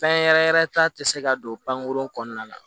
Fɛn yɛrɛ yɛrɛ ta te se ka don pankurun kɔnɔna na